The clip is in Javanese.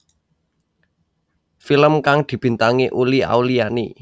Film kang dibintangi Uli Auliani